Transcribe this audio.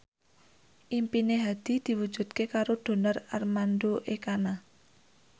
impine Hadi diwujudke karo Donar Armando Ekana